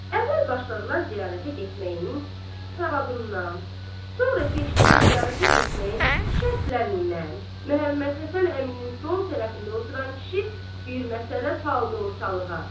Əvvəl başladılar ziyarətə getməyinin savabından, sonra keçdilər ziyarətə getməyin şərtlərindən, Məhəmməd Həsən əminin sol tərəfində oturan kişi bir məsələ saldı ortalığa.